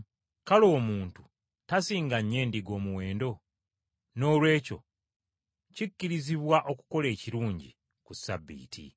Kale, omuntu tasinga nnyo endiga omuwendo? Noolwekyo kikkirizibwa okukola ekirungi ku Ssabbiiti.”